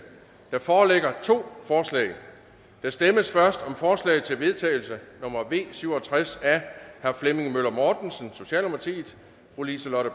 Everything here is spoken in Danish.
der foreligger to forslag der stemmes først om forslag til vedtagelse nummer v syv og tres af flemming møller mortensen liselott